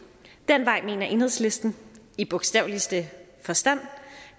den vej mener enhedslisten i bogstaveligste forstand